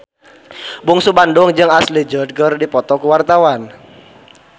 Bungsu Bandung jeung Ashley Judd keur dipoto ku wartawan